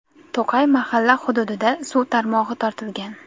To‘qay mahalla hududida suv tarmog‘i tortilgan.